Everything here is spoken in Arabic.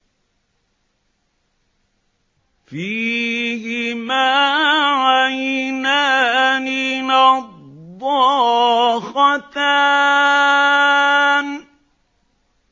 فِيهِمَا عَيْنَانِ نَضَّاخَتَانِ